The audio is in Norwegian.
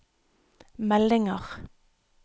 meldinger